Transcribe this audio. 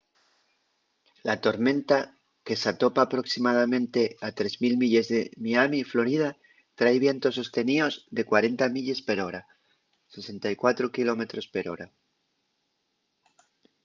la tormenta que s’atopa aproximadamente a 3.000 milles de miami florida trai vientos sosteníos de 40 milles per hora 64 km/h